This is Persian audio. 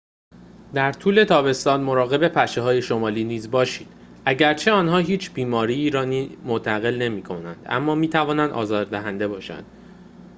در طول تابستان مراقب پشه های شمالی نیز باشید اگرچه آنها هیچ بیماری‌ای را منتقل نمی کنند اما می توانند آزار دهنده باشند